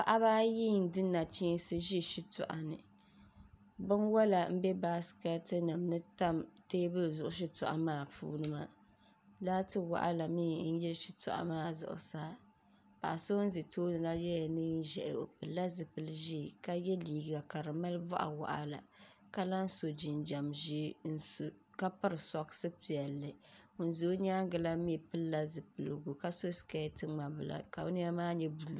Paɣiba ayi n-di nachiinsi n-ʒi shitɔɣu ni binwala m-be baasikɛtinima ni n-tam teebuli zuɣu shitɔɣu maa puuni maa laati waɣila mi n-yili shitɔɣu maa zuɣusaa paɣa so ʒi tooni la yɛla neen' ʒɛhi o pilila zipil' ʒee ka ye liiga ka di mali bɔɣ' waɣila ka lahi so jinjam ʒee ka piri sɔɣisi piɛlli ŋun za nyaaŋa la mi pilila zipiligu ka so sikɛɛti ŋma' bila ka nɛma maa nyɛ buluu